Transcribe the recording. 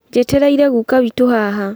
Njetereire guka witũ haha